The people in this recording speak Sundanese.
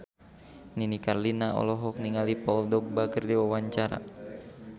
Nini Carlina olohok ningali Paul Dogba keur diwawancara